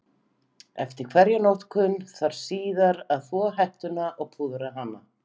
Eftir hverja notkun þarf síðan að þvo hettuna og púðra hana.